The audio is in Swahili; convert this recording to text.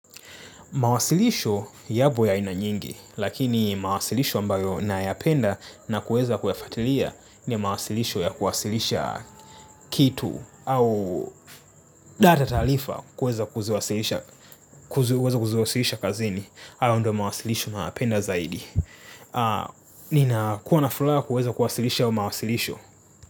Mawasilisho yapo ya ina nyingi lakini mawasilisho ambayo nayapenda na kuweza kuyafuatilia ni mawasilisho ya kuwasilisha kitu au data taarifa kuweza kuziwasilisha kazini hayo ndiyo mawasilisho ninayapenda zaidi. Nina kuwa na furaha kuweza kuwasilisha hayo mawasilisho.